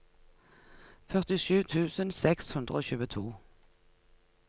førtisju tusen seks hundre og tjueto